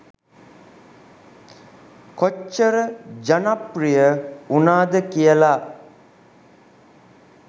කොච්චර ජනප්‍රිය වුනාද කියලා.